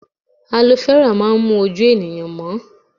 Alo fẹ́rà máa ń mú ojú ènìyàn mọ́